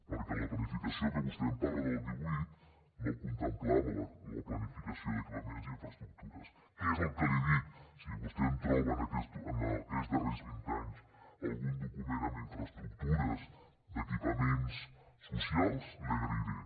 perquè la planificació de què vostè em parla del divuit no contemplava la planificació d’equipaments i infraestructures que és el que li he dit si vostè em troba en aquests darrers vint anys algun document amb infraestructures d’equipaments socials l’hi agrairé